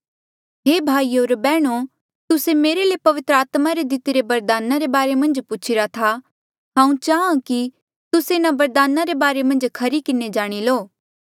हे भाईयो होर बैहणो तुस्से मेरे ले पवित्र आत्मा रे दितिरे बरदाना रे बारे मन्झ पूछीरा था हांऊँ चाहां कि तुस्से इन्हा बरदाना रे बारे मन्झ खरी किन्हें जाणी लो